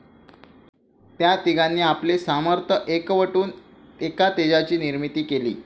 त्या तिघांनी आपले सामर्थ्य एकवटून एका तेजाची निर्मिती केली.